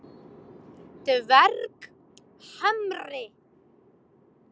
Dverghamri